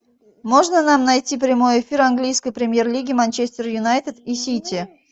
можно нам найти прямой эфир английской премьер лиги манчестер юнайтед и сити